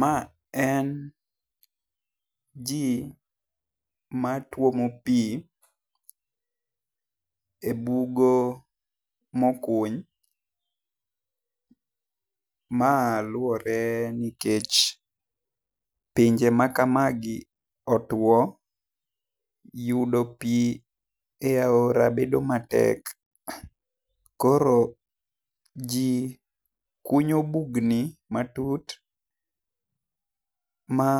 Ma en ji ma twomo pi e bugo mo kuny ma luore ni kech pinje ma kamagi otwo yudo pi e aora bedo matek. Koro ji kunyo bugni matut ma